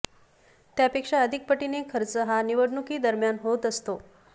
त्यापॆक्षा अधिक पटीने खर्च हा निवडणुकीदरम्यान होत असतो